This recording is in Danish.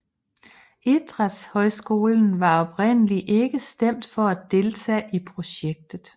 Idrætshøjskolen var oprindelig ikke stemt for at deltage i projektet